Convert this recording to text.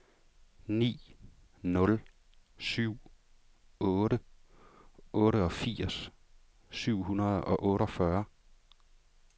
ni nul syv otte otteogfirs syv hundrede og otteogfyrre